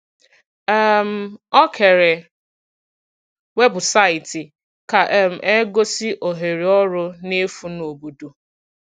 um Ọ kèrè webụsaịtị ka um e gosi ohere ọrụ n’efu n’obodo.